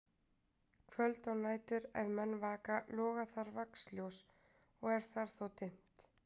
Kvöld og nætur, ef menn vaka, loga þar vaxljós og er þar þó dimmt.